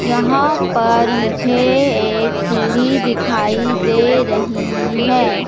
यहां पर मुझे एक सीढ़ी दिखाई दे रही है।